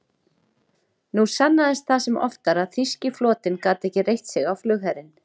Nú sannaðist það sem oftar, að þýski flotinn gat ekki reitt sig á flugherinn.